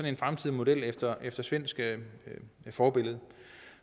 en fremtidig model efter efter svensk forbillede